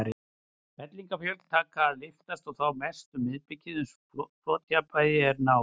Fellingafjöllin taka að lyftast, og þá mest um miðbikið, uns flotjafnvægi er náð.